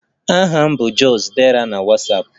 Aha m bụ just_dera na Ịnstagramụ